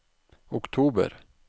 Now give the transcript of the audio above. oktober